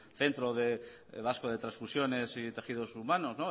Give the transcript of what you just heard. centro vasco de transfusiones y tejidos humanos